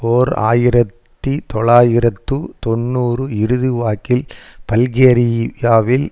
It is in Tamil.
ஓர் ஆயிரத்தி தொள்ளாயிரத்து தொன்னூறு இறுதிவாக்கில் பல்கேரியாவில்